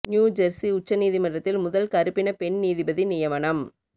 new Jersey உச்ச நீதிமன்றத்தில் முதல் கறுப்பின பெண் நீதிபதி நியமனம்